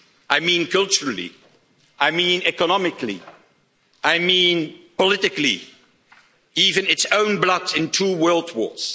I mean culturally, I mean economically, I mean politically, even its own blood in two world wars.